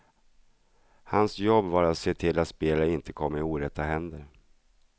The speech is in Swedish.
Hans jobb var att se till att spelet inte kom i orätta händer.